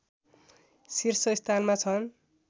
शीर्षस्थानमा छन्